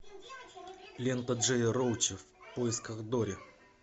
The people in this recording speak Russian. лента джея роуча в поисках дори